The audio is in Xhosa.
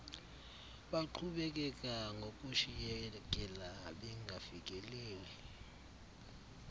baqhubekeka ngokushiyekela bengafikeleli